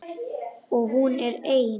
Og hún er ein.